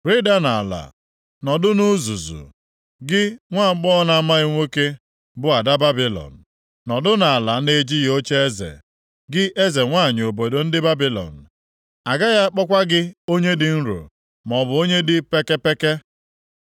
“Rịda nʼala, nọdụ na uzuzu, gị nwaagbọghọ na-amaghị nwoke, bụ ada Babilọn, nọdụ nʼala na-ejighị ocheeze, gị eze nwanyị obodo ndị Babilọn. Agaghị akpọkwa gị onye dị nro, maọbụ onye dị pekepeke.